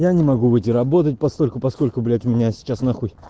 я не могу выйти работать постольку поскольку блять у меня сейчас нахуй